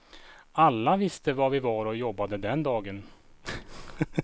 Alla visste var vi var och jobbade den dagen.